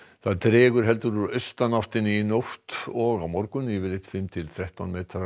það dregur heldur úr austanáttinni í nótt og á morgun yfirleitt fimm til þrettán